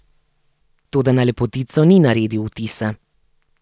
Toda na Lepotico ni naredil vtisa.